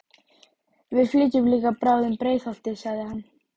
Við flytjum líka bráðum í Breiðholtið, sagði hann.